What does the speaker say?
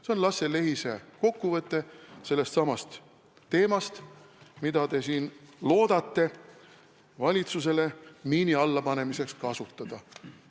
" See on Lasse Lehise kokkuvõte sellestsamast teemast, mida te siin loodate valitsusele miini alla panemiseks kasutada.